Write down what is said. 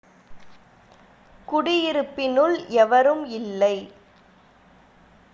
குடியிருப்பினுள் எவரும் இல்லை